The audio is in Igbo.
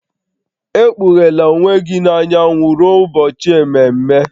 Ekpughela onwe gị n'anyanwụ ruo ụbọchị ememe